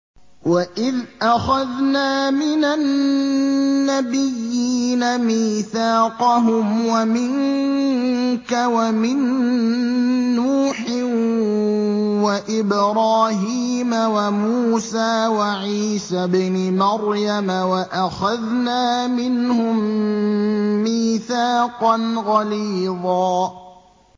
وَإِذْ أَخَذْنَا مِنَ النَّبِيِّينَ مِيثَاقَهُمْ وَمِنكَ وَمِن نُّوحٍ وَإِبْرَاهِيمَ وَمُوسَىٰ وَعِيسَى ابْنِ مَرْيَمَ ۖ وَأَخَذْنَا مِنْهُم مِّيثَاقًا غَلِيظًا